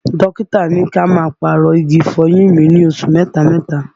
Dókítà ní kí n má a pàrọ̀ igi ìfọyín mi lósù mẹta mẹta